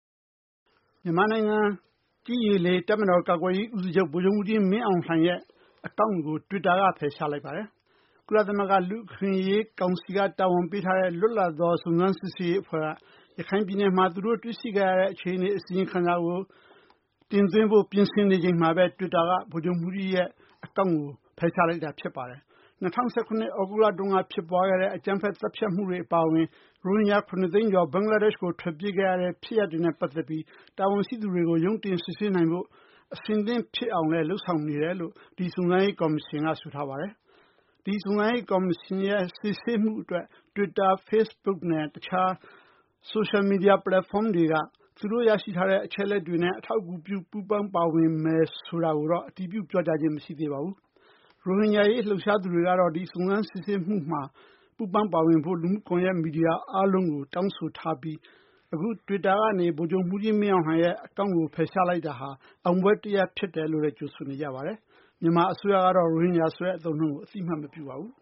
မြန်မာနိုင်ငံ ကြည်း၊ ရေ၊ လေ တပ်မတော် ကာကွယ်ရေး ဦးစီးချုပ် ဗိုလ်ချုပ်မှူးကြီး မင်းအောင်လှိုင်ရဲ့ အကောင့်ကို တွစ်တာက ဖယ်ရှားလိုက်ပါတယ်။ ကုလသမဂ္ဂ လူ့အခွင့်အရေး ကောင်စီက တာဝန်ပေးထားတဲ့ လွတ်လပ်သော စုံစမ်းစစ်ဆေးရေး အဖွဲ့က ရခိုင်ပြည်နယ်မှာ သူတို့ တွေ့ရှိခဲ့ရတဲ့ အခြေအနေ အစီရင်ခံစာကို တင်သွင်းဖို့ ပြင်ဆင်နေချိန်မှာဘဲ တွစ်တာက ဗိုလ်ချုပ်မှူးကြီးရဲ့ အကောင့်ကို ဖယ်ရှားလိုက်တာ ဖြစ်ပါတယ်။ ၂၀၁၇ ခုနှစ် သြဂုတ်လတုန်းက ဖြစ်ပွားခဲ့တဲ့ အကြမ်းဖက် သတ်ဖြတ်မှုတွေ အပါအဝင် ရိုဟင်ဂျာ ၇ သိန်းကျော် ဘင်္ဂလားဒေရှ့်ကို ထွက်ပြေးခဲ့ရတဲ့ ဖြစ်ရပ်နဲ့ ပတ်သက်ပြီး တာဝန်ရှိသူတွေကို ရုံးတင် စစ်ဆေးနိုင်ဖို့ အဆင်သင့် ဖြစ်အောင်လည်း လုပ်ဆောင်နေတယ်လို့ ဒီ စုံစမ်းရေး ကော်မရှင်က ဆိုထားပါတယ်။ ဒီ စုံစမ်းရေး ကော်မရှင်ရဲ့ စစ်ဆေးမှု အတွက် တွစ်တာ၊ Facebook နဲ့ တခြား ဆိုရှယ်မီဒီယာ ပလက်ဖောင်းတွေက သူတို့ ရရှိထားတဲ့ အချက်အလက်တွေနဲ့ အထောက်အကူပြု ပူးပေါင်းပါဝင်မယ်ဆို တာကိုတော့ အတည်ပြု ပြောကြားခြင်း မရှိသေးပါဘူး။ ရိုဟင်ဂျာ အရေး လှုပ်ရှားသူတွေကတော့ ဒီစုံစမ်းစစ်ဆေးမှုမှာ ပူးပေါင်းပါဝင်ဖို့ လူမှုကွန်ယက် မီဒီယာတွေ အားလုံးကို တောင်းဆိုထားပြီး အခု တွစ်တာကနေ ဗိုလ်ချုပ်မှူးကြီး မင်းအောင်လှိုင်ရဲ့ အကောင့်ကို ဖယ်ရှားလိုက်တာဟာ အောင်ပွဲ တရပ် ဖြစ်တယ်လို့လည်း ကြိုဆိုနေကြပါတယ်။ မြန်မာ အစိုးရကတော့ ရိုဟင်ဂျာဆိုတဲ့ အသုံးအနှုန်းကို အသိအမှတ်မပြုပါဘူး